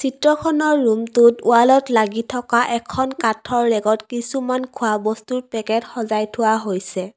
চিত্ৰখনৰ ৰুমটোত ৱালত লাগি থকা এখন কাঠৰ ৰেগত কিছুমান খোৱা বস্তুৰ পেকেট সজাই থোৱা হৈছে।